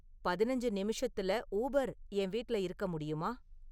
பதினஞ்சி நிமிஷத்துல ஊபெர் என் வீட்டுல இருக்க முடியுமா